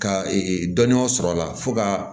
Ka dɔnniya sɔrɔ a la fo ka